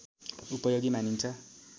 उपयोगी मानिन्छ